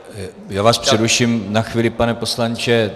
Já vás přeruším na chvíli, pane poslanče.